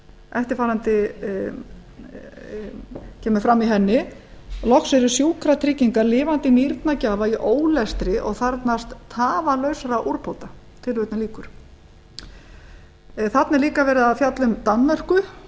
eftirfarandi kemur fram í henni loks eru sjúkratryggingar lifandi nýrnagjafa í ólestri og þarfnast tafarlausra úrbóta þarna er líka verið að fjalla um danmörku